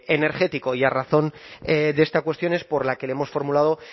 energético y a razón de esta cuestión es por la que le hemos formulado